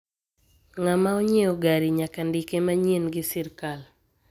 Ng'ama onyiewo gari nyaka ndike manyien gi sirkal.